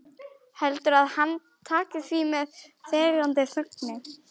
Heldurðu að hann taki því með þegjandi þögninni?